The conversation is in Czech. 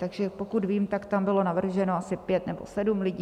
Takže pokud vím, tak tam bylo navrženo asi pět nebo sedm lidí.